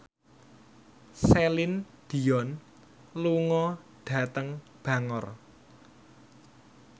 Celine Dion lunga dhateng Bangor